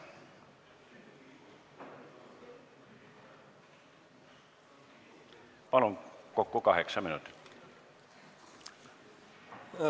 Palun, kokku kaheksa minutit!